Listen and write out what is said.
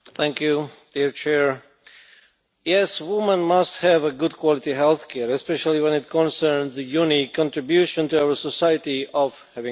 Mr President, yes, women must have good quality health care especially when it concerns the unique contribution to our society of having babies.